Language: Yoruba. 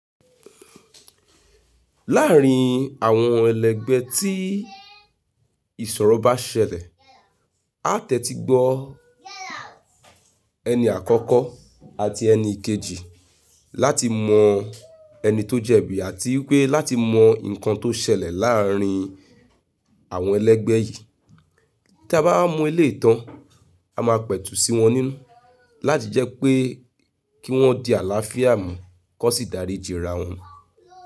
Láàrin àwọn ẹlẹ́gbẹ́ tí ìṣòro bá ṣẹlẹ̀, a tẹ́tí gbọ́o ẹni àkọ́kọ́ àti ẹni ikejì láti mọ ẹni tó jẹ̀bi àtii pé láti mọ nǹkan tó ṣẹlẹ̀ láàrin àwọn ẹlẹ́gbẹ́ yìí. Tí a bá wa mo eleyii tàn, a máa pẹ̀tù sí wọn nínú láti jẹ́ pé kí wọ́n di àlàáfíà mú kan sì dáríìjìrà wọn.